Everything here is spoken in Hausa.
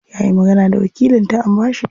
Yayi magana da wakilin ta an bashi ita.